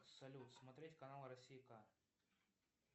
салют смотреть канал россия к